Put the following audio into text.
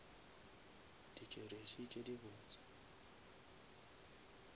di jeresi tše di botse